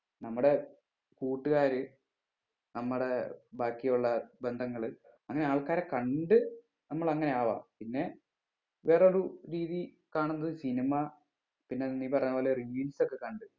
നമ്മടെ കൂട്ടുകാര് നമ്മടെ ബാക്കിയുള്ള ബന്ധങ്ങള് അങ്ങനെ ആൾക്കാരെ കണ്ട് നമ്മള് അങ്ങനെ ആവാം പിന്നെ വേറെ ഒരു രീതി കാണുന്നത് cinema പിന്നെ നീ പറയുന്നത് പോലെ reels ഒക്കെ കണ്ട്